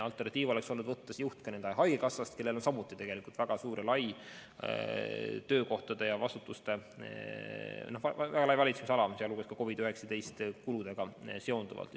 Alternatiiv oleks olnud võtta see juht haigekassast, kellel on samuti väga suur ja lai vastutuse ala, sealhulgas ka COVID-19 kuludega seonduvalt.